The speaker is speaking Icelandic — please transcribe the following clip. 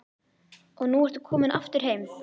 Og nú ertu komin aftur heim?